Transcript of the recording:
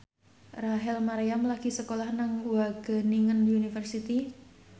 Rachel Maryam lagi sekolah nang Wageningen University